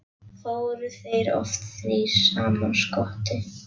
Fóru þeir oft þrír saman: Skotti